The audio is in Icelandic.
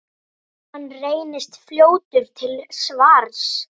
Hann reynist fljótur til svars.